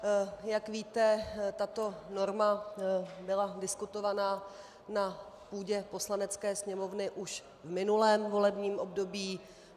Jak víte, tato norma byla diskutovaná na půdě Poslanecké sněmovny už v minulém volebním období.